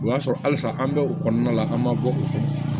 O y'a sɔrɔ halisa an bɛ o kɔnɔna la an ma bɔ o kan